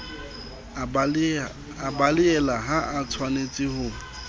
a belaela ha atshwanetse ho